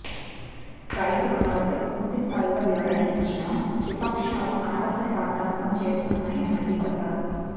రైతు రుణాలపై పూర్తి స్థాయిలో వివరణ ఇచ్చినా విపక్షాలు అనవసర రాద్ధాంతం చేస్తున్నాయని మండిపడ్డారు